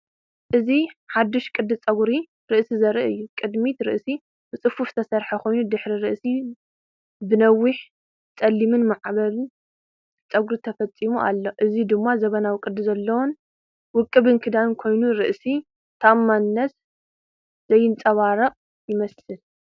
እዚ ሓድሽ ቅዲ ጸጉሪ ርእሲ ዘርኢ እዩ። ቅድሚት ርእሲ ብጽፉፍ ዝተሰርሐ ኮይኑ ድሕሪት ርእሲ ብነዊሕን ጸሊምን ማዕበልን ጸጉሪ ተሰሊሙ ኣሎ። እዚ ድማ ዘመናዊ፡ ቅዲ ዘለዎን ውቁብን ክዳን ኮይኑ ርእሰ ተኣማንነት ዘንጸባርቕ ይመስል።